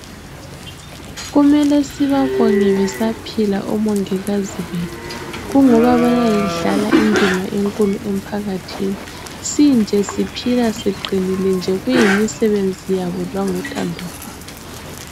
Kumele sibabonge besaphila omongikazi bethu, kungokuba bayayidlala indima enkulu emphakathini. Sinje siphila siqinile nje kuyimisebenzi yabo langothando lwabo.